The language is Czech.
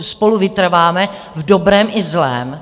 spolu vytrváme v dobrém i zlém.